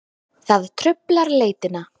Það truflar leitina.